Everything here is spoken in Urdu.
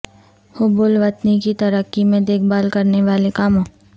حب الوطنی کی ترقی میں دیکھ بھال کرنے والے کاموں